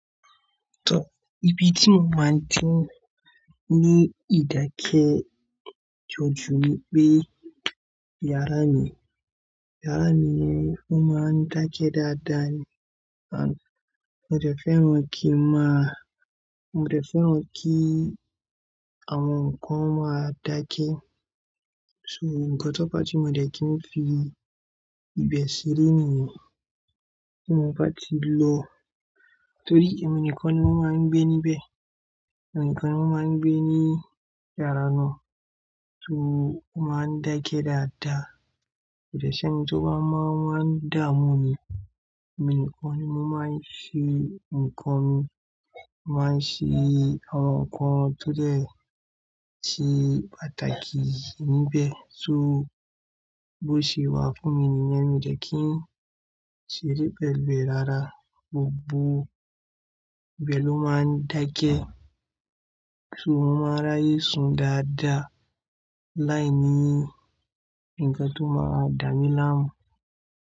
To ibi tí mo máa ń tí ni ìdákẹ́jojuwe pé yàrá mi, yàrá mi fún máa ń dákẹ́ dáadáa ni. Àn, mo dẹ̀ fẹ́ran kí màá, mo dẹ̀ fẹ́ran kí àwọn nǹkan máa dákẹ́. So, ǹkan tó ba tí mo dẹ̀ kí n fi ibẹ̀ sílẹ̀ nìyẹn tí mo bá ti lọ. Torí ẹ̀mí nìkan ni wọ́n máa ń gbé níbẹ̀, ẹ̀mí nìkan ni wọ́n máa ń gbé ní yàrá náà so wọ́n máa ń dákẹ́ dáadáa. Ko de ṣi eni tó bá máa wá dáa mú ni, ẹ̀mí nìkan ni wọ́n máa ń ṣí, nǹkan ni wọ́n máa ń ṣí, àwọn nǹkan tó dẹ̀ se pàtàkì níbẹ̀. So bó ṣe wà fún mi ni niyen mo dé kí n ṣeré pẹ̀lú e rárá. Gbogbo, ibẹ̀ lomáa ń dákẹ́ so wọ́n máa ráyè sùn dáadáa láìní ǹkan tó máa dá mí láàmú.